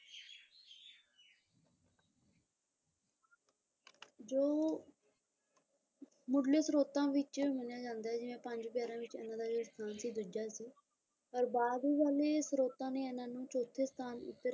ਜੋ ਮੁੱਢਲੇ ਸਰੋਤਾਂ ਵਿੱਚ ਮੰਨਿਆ ਜਾਂਦਾ ਹੈ ਜਿਵੇਂ ਪੰਜ ਪਿਆਰਿਆਂ ਵਿੱਚ ਇਹਨਾਂ ਦਾ ਜਿਹੜਾ ਸਥਾਨ ਸੀ ਦੂਜਾ ਸੀ ਪਰ ਬਾਅਦ ਦੀ ਗੱਲ ਇਹ ਸਰੋਤਾਂ ਨੇ ਇਹਨਾਂ ਨੂੰ ਚੌਥੇ ਸਥਾਨ ਉੱਤੇ,